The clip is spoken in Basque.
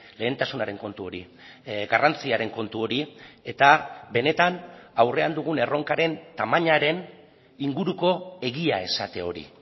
lehentasunaren kontu hori garrantziaren kontu hori eta benetan aurrean dugun erronkaren tamainaren inguruko egia esate hori